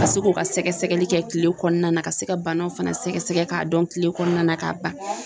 Ka se k'u ka sɛgɛsɛgɛli kɛ kile kɔnɔna na ka se ka banaw fana sɛgɛsɛgɛ k'a dɔn kile kɔnɔna na k'a ban